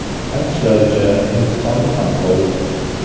Aytishlaricha, Hindistonda ham sovuq .